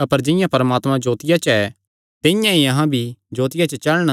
अपर जिंआं परमात्मा जोतिया च ऐ तिंआं ई अहां भी जोतिया च चलण